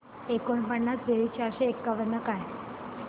एकोणपन्नास बेरीज चारशे एकावन्न काय